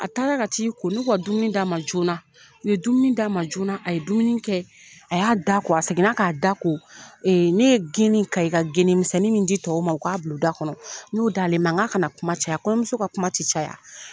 A taara ka t'i ko n'u ko ka dumuni d'a ma joona u ye dumuni d'a ma joona a ye dumuni kɛ a y'a da ko a seginna k'a da ko ne ye geni Kayikagenimisɛnnin min di tɔw ma o k'a bila o da kɔnɔ n'o d'ale ma n k'a kana kuma caya kɔɲɔmuso ka kuma tɛ caya.